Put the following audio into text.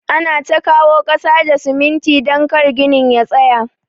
Ana ta kawo kasa da siminti don kar ginin ya tsaya.